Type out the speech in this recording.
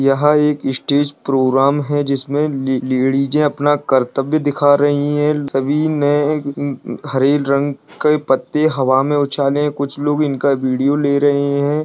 यहां एक stage programme है जिसमें ले लेडीजे अपना कर्तव्य दिखा रही है सभी ने उम्म हरे रंग के पत्ते हवा मे उछले है कुछ लोग इनका वीडियो ले रहे है।